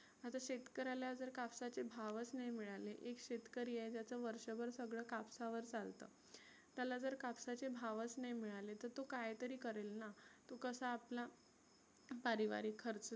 आता शेतकऱ्याला जर कापसाचे भावच नाही मिळाले, एक शेतकरी आहे ज्याचं वर्षभर सगळ कापसावर चालतं. त्याला जर कापसाचे भावच नाही मिळाळे तर तो काय तरी करेल ना. तो कसा आपला पारिवारीक खर्च